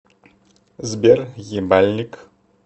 сбер ебальник